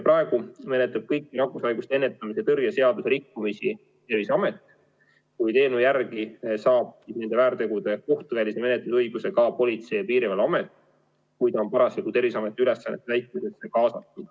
Praegu menetleb kõiki nakkushaiguste ennetamise ja tõrje seaduse rikkumisi Terviseamet, kuid eelnõu järgi saab nende väärtegude kohtuvälise menetluse õiguse ka Politsei- ja Piirivalveamet, kui ta on olnud Terviseameti ülesannete täitmisse kaasatud.